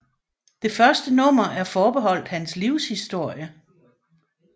Det første nummer er forbeholdt hans livshistorie